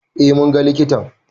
Eh, munga likitan